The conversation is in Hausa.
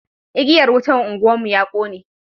igiyar wutan unguwar mu ya kone